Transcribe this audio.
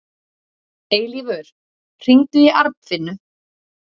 Eilífur, hringdu í Arnfinnu.